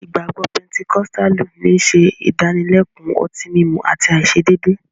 Ìgbagbọ Pẹntẹkọ̀stàlù ní n ṣẹ̀ ìdálẹ̀kun ọ̀tíìmúmú àti aiṣedeede.